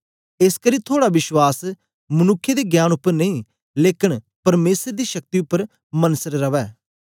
एसकरी थुआड़ा विश्वास मनुक्खें दे ज्ञान उपर नेई लेकन परमेसर दी शक्ति उपर मनसर रवै